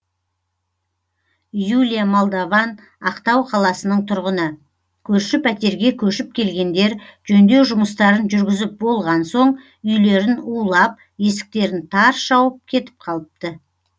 юлия молдован ақтау қаласының тұрғыны көрші пәтерге көшіп келгендер жөндеу жұмыстарын жүргізіп болған соң үйлерін улап есіктерін тарс жауып кетіп қалыпты